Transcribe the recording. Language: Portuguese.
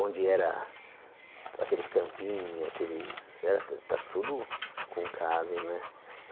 Onde era aqueles campinhos, aqueles era tá tudo com casas né.